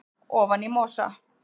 ofan í mosa